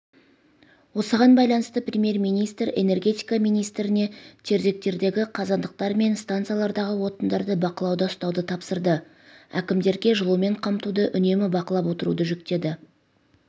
осыған байланысты премьер-министр энергетика министріне тердегтердегі қазандықтар мен станциялардағы отындарды бақылауда ұстауды тапсырды әкімдерге жылумен қамтуды үнемі бақылап отыруды жүктеді